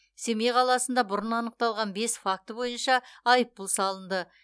семей қаласында бұрын анықталған бес факті бойынша айыппұл салынды